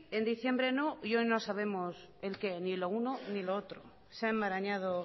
en diciembre no y hoy no sabemos el qué ni lo uno ni lo otro se ha enmarañado